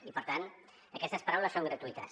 i per tant aquestes paraules són gratuïtes